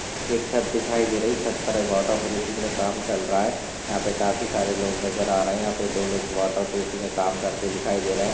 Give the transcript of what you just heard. छत दिखाए दे रही छत पर वोटरप्रूफिंग का काम चल रहा है यहां पे काफी सारे लोग नजर आरहे हे दो लोग वोटरप्रूफिंग का काम करते दिखाए दे रहे है।